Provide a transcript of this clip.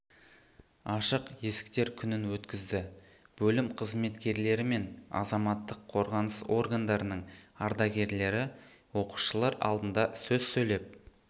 ашық есіктер күнін өткізді бөлім қызметкерлері мен азаматтық қорғаныс органдарының ардагерлері оқушылар алдында сөз сөйлеп